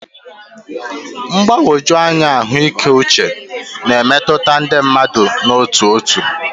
Mgbagwoju anya ahụike uche na-emetụta ndị mmadụ n'otu n'otu.